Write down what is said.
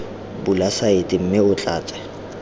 bula saete mme o tlatse